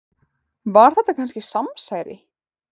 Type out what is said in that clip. Var þetta kannski samsæri?